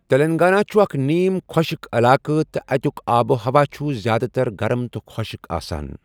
تلنگانہ چھُ اکھ نیم خۄشٕک علاقہٕ تہٕ اَتیُک آب و ہوا چھُ زِیٛادٕ تر گرم تہٕ خۄشٕک آسان۔